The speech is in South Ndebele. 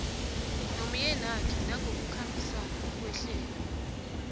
nomyenakhe nangokukhambisana nehlelo